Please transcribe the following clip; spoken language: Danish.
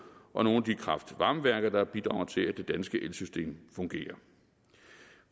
og nogle af de kraft varme værker der bidrager til at det danske elsystem fungerer